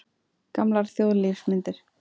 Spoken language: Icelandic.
Gamlar þjóðlífsmyndir.